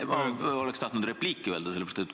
Ma oleks tahtnud repliiki öelda.